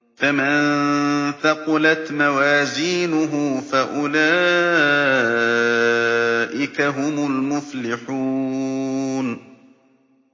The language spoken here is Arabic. فَمَن ثَقُلَتْ مَوَازِينُهُ فَأُولَٰئِكَ هُمُ الْمُفْلِحُونَ